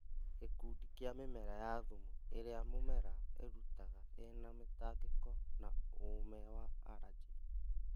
Gĩkundi kĩa mĩmera ya thumu ĩrĩa mũmera irutaga ĩna mĩtangĩko na ũũme wa aranjĩ